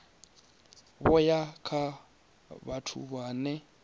vho ya kha vhathu vhane